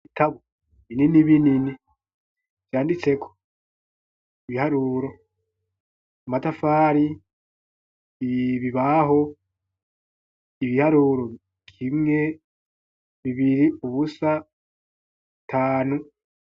Ibitabo, Binini binini ,vyanditse ko ibiharuro ,matafari, ibibaho ,ibiharuro ,kimwe ,bibiri, ubusa, tanu.